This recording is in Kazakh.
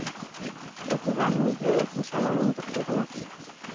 оқиғаны неге осыншама мұңды қылдыңыз